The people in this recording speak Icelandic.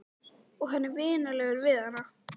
Og hann er vinalegur við hana.